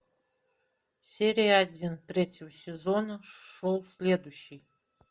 серия один третьего сезона шоу следующий